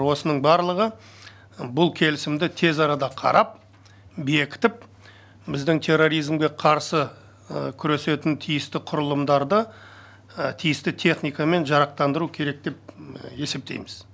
осының барлығы бұл келісімді тез арада қарап бекітіп біздің терроризмге қарсы күресетін тиісті құрылымдарды тиісті техникамен жарақтандыру керек деп есептейміз